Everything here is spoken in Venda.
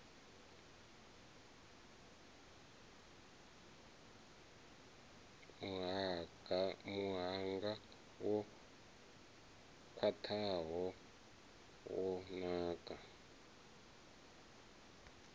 muhanga wo khwathaho wa ndaka